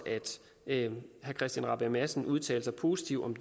at herre christian rabjerg madsen udtalte sig positivt om